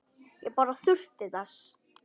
Ég bara þurfti þess.